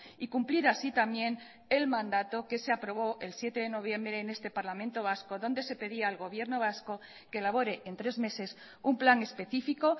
y cumplir así también el mandato que se aprobó el siete de noviembre en este parlamento vasco donde se pedía al gobierno vasco que elabore en tres meses un plan específico